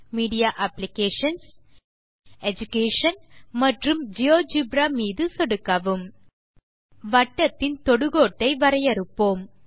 media applications education மற்றும் GeoGebra மீது சொடுக்கவும் வட்டத்தின் தொடுகோடு ஐ வரையறுப்போம்